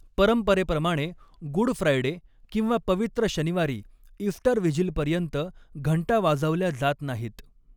परंपरेप्रमाणे, good Friday किंवा पवित्र शनिवारी इस्टर व्हिजिलपर्यंत घंटा वाजवल्या जात नाहीत.